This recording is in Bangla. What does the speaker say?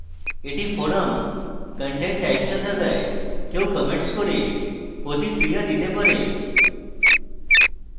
এটি forum content types এ থাকায় কেউ comments করে প্রতিক্রিয়া দিতে পারে